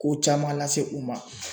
Ko caman lase u ma.